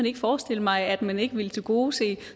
ikke forestille mig at man ikke ville tilgodese